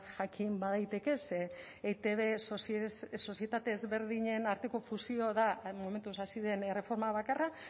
jakin badaiteke ze eitb sozietate ezberdinen arteko fusio da momentuz hasi den erreforma bakarra